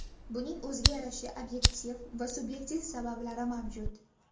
Buning o‘ziga yarasha obyektiv va subyektiv sabablari mavjud.